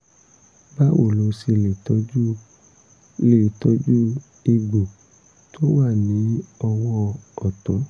báwo la ṣe lè tọjú lè tọjú egbò tó wà ní ọwọ́ ọ̀tún?